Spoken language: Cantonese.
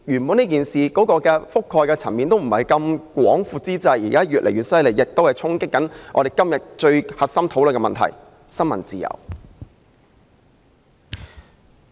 本來事件的覆蓋層面並不太廣闊，現在卻越演越烈，衝擊着我們今天討論的核心問題——新聞自由。